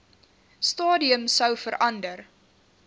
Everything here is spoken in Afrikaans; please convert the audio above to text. stadium sou verander